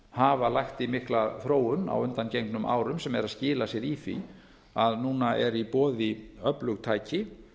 hafa lagt í mikla þróun á undangengnum árum sem er að skila sér í því að núna eru í boði öflug tæki